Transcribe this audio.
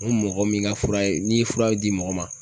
N ko mɔgɔ min ka fura ye, n'i ye furaw di mɔgɔ ma